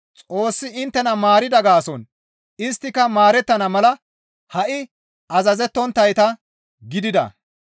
Xoossi inttena maarida gaason isttika maarettana mala ha7i azazettonttayta gidida.